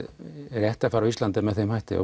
réttarfar á Íslandi er með þeim hætti